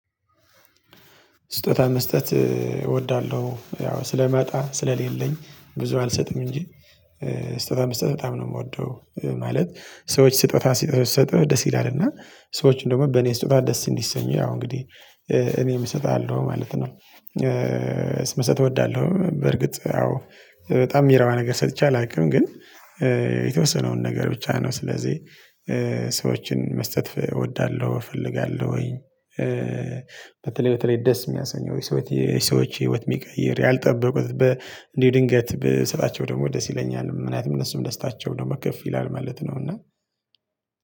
ስጦታ መስጠት እወዳለሁ ያው ስለማጣ ስለሌለኝ ብዙ አልሰጥም እንጂ ስጦታ መስጠት በጣም ነው የምወደው ማለት። ሰዎች ስጦታ ሲሰጠው ስትሰጥ ደስ ይላል እና ሰዎችን ደግሞ በእኔ ስጦታ ደስ እንዲሰኘው ያው እንግዲህ እኔም እሰጣለሁ ማለት ነው። ስመሰጥ እወዳለሁ በርግጥ ያው በጣም የሚረዋ ነገር ሰጥቼ አላውቅም ግን የተወሰነውን ነገር ብቻ ነው ስለዚህ ሰዎችን መስጠት እወዳለሁ እፈልጋለሁ። ወይ በተለይ በተለይ ደስ የሚያሰኘው የሰዎች ህይወት የሚቀይር ያልጠበቁት በ እንዲህ ድንገት በስራቸው ደግሞ ደስ ይለኛል ምናምን እነሱም ደስታቸው ደግሞ ከፍ ይላል ማለት ነው። እና